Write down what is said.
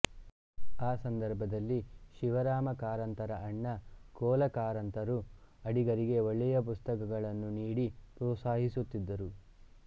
ಆ ಸಂದರ್ಬದಲ್ಲಿ ಶಿವರಾಮ ಕಾರಂತರ ಅಣ್ಣ ಕೋ ಲ ಕಾಆರಂತರು ಅಡಿಗರಿಗೆ ಒಳ್ಳೆಯ ಪುಸ್ತಕಗಳನ್ನು ನೀಡಿ ಪ್ರೋತ್ಸಾಹಿಸುತ್ತಿದ್ದರು